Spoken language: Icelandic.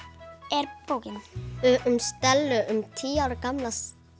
er bókin um Stellu tíu ára gamla